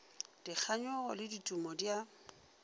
dikganyogo le ditumo di a